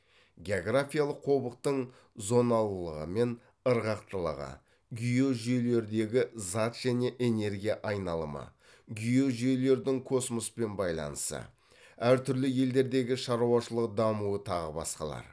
географиялық қобықтың зоналылығы мен ырғақтылығы геожүйелердегі зат және энергия айналымы геожүйелердің космоспен байланысы әр түрлі елдердегі шаруашылық дамуы тағы басқалар